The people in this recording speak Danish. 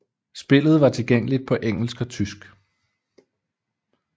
Spillet var tilgængeligt på engelsk og tysk